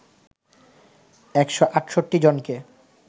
১৬৮ জনকে